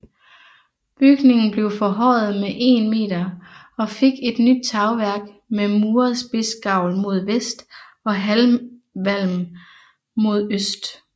Bygningen blev forhøjet med 1 meter og fik et nyt tagværk med muret spidsgavl mod vest og halvvalm mod øst